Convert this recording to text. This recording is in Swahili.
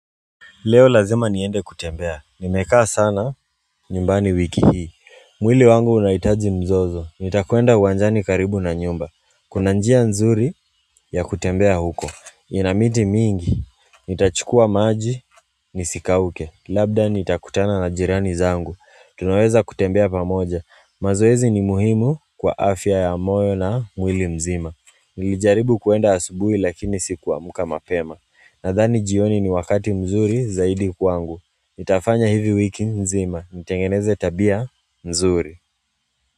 Leo lazima niende kutembea, nimekaa sana nyumbani wiki hii mwili wangu unaihitaji mzozo, nitakwenda uwanjani karibu na nyumba Kuna njia nzuri ya kutembea huko, ina miti mingi Nitachukua maji nisikauke, labda nitakutana na jirani zangu Tunaweza kutembea pamoja, mazoezi ni muhimu kwa afya ya moyo na mwili mzima Nilijaribu kuenda asubui lakini sikuamka mapema Nadhani jioni ni wakati mzuri zaidi kwangu nitafanya hivi wiki nzima, nitengeneze tabia mzuri.